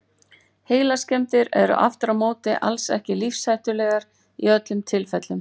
Heilaskemmdir eru aftur á móti alls ekki lífshættulegar í öllum tilfellum.